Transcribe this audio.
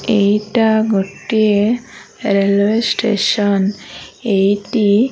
ଏଇଟା ଗୋଟିଏ railway station ଏଇଟି --